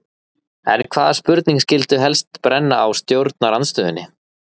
En hvaða spurningar skyldu helst brenna á stjórnarandstöðunni?